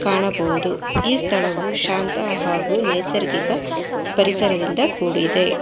ಕಾಣಬಹುದು ಈ ಸ್ಥಳವು ಶಾಂತ ಹಾಗೂ ನೈಸರ್ಗಿಕ ಪರಿಸರದಿಂದ ಕೂಡಿದೆ.